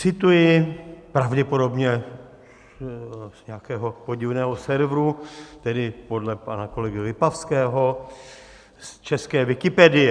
Cituji pravděpodobně z nějakého podivného serveru - tedy podle pana kolegy Lipavského: z české Wikipedie.